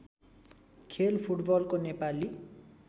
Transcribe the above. खेल फुटबलको नेपाली